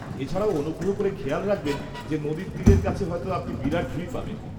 -এছাড়াও, অনুগ্রহ করে খেয়াল রাখবেন যে নদীর তীরের কাছে হয়তো আপনি বিরাট ভিড় পাবেন।